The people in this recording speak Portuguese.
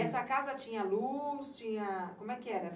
E essa casa tinha luz, tinha... como é que era?